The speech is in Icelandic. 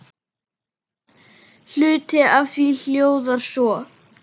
Hluti af því hljóðar svo